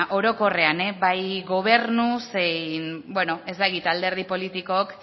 orokorrean bai gobernu zein ez dakit alderdi politikook